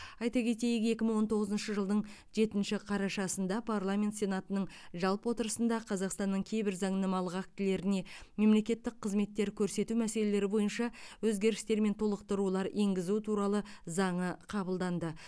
айта кетейік екі мың он тоғызыншы жылдың жетінші қарашасында парламент сенатының жалпы отырысында қазақстанның кейбір заңнамалық актілеріне мемлекеттік қызметтер көрсету мәселелері бойынша өзгерістер мен толықтырулар енгізу туралы заңы қабылданды